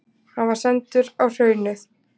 Hann var sendur á Hraunið.